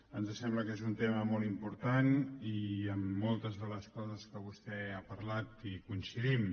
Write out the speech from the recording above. ens sembla que és un tema molt important i en moltes de les coses que vostè ha parlat hi coincidim